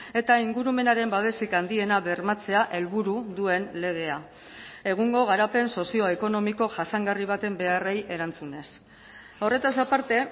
eta ingurumenaren babesik handiena bermatzea helburu duen legea egungo garapen sozioekonomiko jasangarri baten beharrei erantzunez horretaz aparte